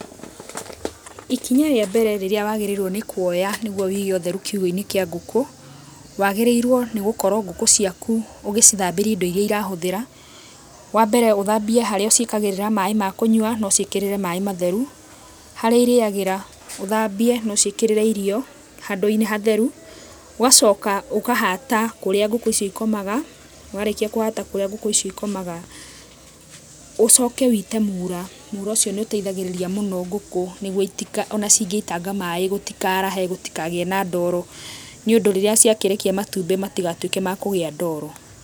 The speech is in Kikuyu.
Ikinya rĩa mbere rĩrĩa wagĩrĩirwo nĩ kũoya nĩgũo wige ũtherũ kĩũgũ-inĩ kĩa ngũkũ, wagĩrĩirwo nĩ gũkorwo ngũkũ ciakũ ũgĩcithambĩria indo iria irahũthĩra. Wambere ũthambĩe harĩa ũciĩkagĩrĩra maaĩ ma kũnyua, no ũciĩkĩrĩre maaĩ matheru. Harĩa irĩagĩra ũthambie no ũciĩkĩrĩre irio handũ-inĩ hatheru. Ũgacoka ũkahata kũríĩ ngũkũ icio ikomaga. Warĩkĩa kũhata kũrĩa ngũkũ icio ikomaga, ũcoke ũĩte mũũra, mũũra ũcio nĩ ũteithagĩrĩria mũno ngũkũ nĩgũo ona cingeitanga maaĩ gũtikarahe, gũtikagĩe na ndoro, nĩ ũndũ rĩrĩa ciakĩrekĩa matumbi mtigatuĩke ma kũgĩa ndoro.